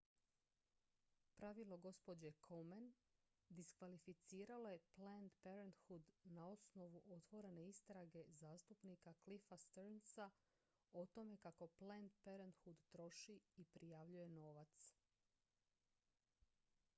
pravilo gđe komen diskvalificiralo je planned parenthood na osnovu otvorene istrage zastupnika cliffa stearnsa o tome kako planned parenthood troši i prijavljuje novac